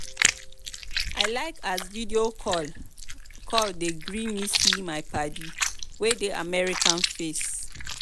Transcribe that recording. i like as video call call dey gree me see my paddy wey dey america face.